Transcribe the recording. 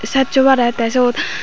saatjo parey tey syot.